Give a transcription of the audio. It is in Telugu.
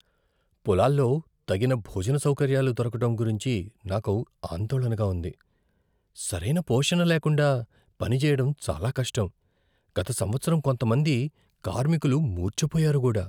పొలాల్లో తగిన భోజన సౌకర్యాలు దొరకడం గురించి నాకు ఆందోళనగా ఉంది. సరైన పోషణ లేకుండా పనిచేయడం చాలా కష్టం, గత సంవత్సరం కొంతమంది కార్మికులు మూర్ఛపోయారు కూడా!